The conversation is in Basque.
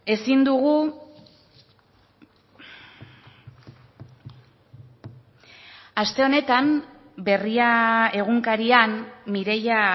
ezin dugu aste honetan berria egunkarian mireia